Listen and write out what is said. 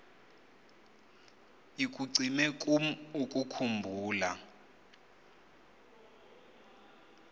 ikucime kum ukukhumbula